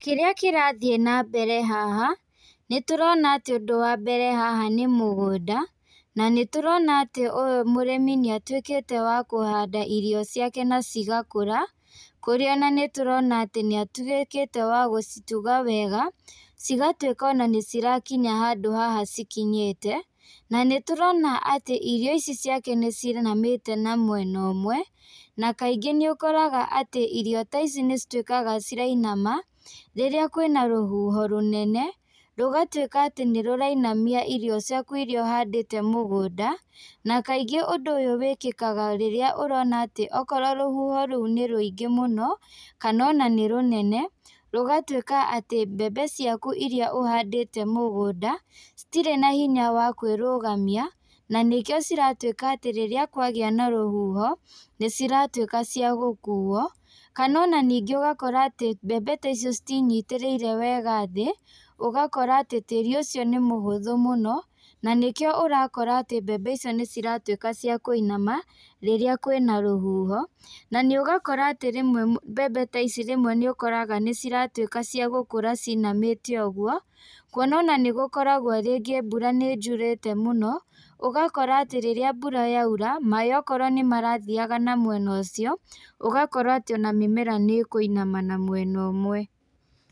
Kĩrĩa kĩrathiĩ nambere haha, nĩtũrona atĩ ũndũ wa mbere haha nĩ mũgũnda, na nĩtũrona atĩ ũyũ mũrĩmi nĩatuĩkĩte wa kũhanda irio ciake na cigakũra, kũrĩa ona nĩtũrona atĩ nĩatuĩkĩte wa gũcituga wega, cigatuĩka ona nĩcirakinya handũ haha cikinyĩte, na nĩtũrona atĩ irio ici ciake nĩcinamĩte na mwena ũmwe, na kaingĩ nĩũkoraga atĩ irio ta ici nĩcituĩkaga cirainama, rĩrĩa kwĩna rũhuho rũnene, rũgatuĩka atĩ nĩrũrainamia irio ciaku iria ũhandĩte mũgũnda, na kaingĩ ũndũ ũyũ wĩkĩkaga rĩrĩa ũrona atĩ okorwo rũhuho rũu nĩ rũingĩ mũno, kana ona nĩrũnene, rũgatuĩka atĩ mbembe ciaku iria ũhandĩte mũgũnda, citirĩ na hinya wa kwĩrũgamia, na nĩkĩo ciratuĩka atĩ rĩrĩa kwagĩa na rũhuho, nĩciratuĩka cia gũkuo, kana ona ningĩ ũgakora atĩ mbembe ta ici citintitĩrĩire wega thĩ, ũgakora atĩ tiri ũcio nĩmũhũthũ mũno, na nĩkio ũrakora atĩ mbembe icio nĩciratuĩka cia kũinama, rĩrĩa kwĩna rũhuho, na nĩũgũkora atĩ rĩmwe mbembe ta ici rĩmwe nĩũkoraga nĩciratuĩka cia gũkũra cinamĩte ũguo, kuona ana nĩgũkoragwo rĩngĩ mbura nĩyurĩte mũno, ũgakora atĩ rĩrĩa mbura yaura, maĩ okorwo nĩmarathiaga na mwena ũcio, ũgakora atĩ ona mĩmera nĩkũinama na mwena ũmwe.